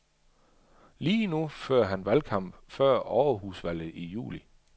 Lige nu fører han valgkamp før overhusvalget i juli.